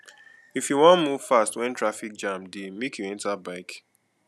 if you wan move fast wen traffic jam dey make you enta bike